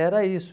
Era isso.